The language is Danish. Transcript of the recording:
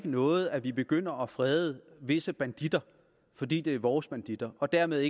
noget at vi begynder at frede visse banditter fordi det er vores banditter og dermed